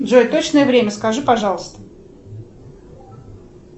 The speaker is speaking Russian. джой точное время скажи пожалуйста